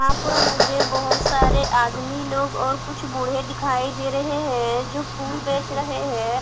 यहा पर मुझे बहोत सारे आदमी लोग और कुछ बोहे दिखाई दे रहे है जो कुछ फुल बेच रहे है।